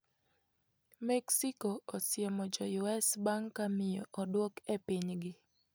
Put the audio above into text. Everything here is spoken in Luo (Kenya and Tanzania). Mexico osiemo jo US bang' ka miyo oduok e pinygi.